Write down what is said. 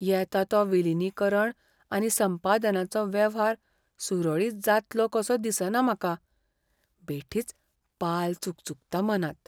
येता तो विलीनीकरण आनी संपादनाचो वेव्हार सुरळीत जातलो कसो दिसना म्हाका. बेठीच पाल चुकचुकता मनांत.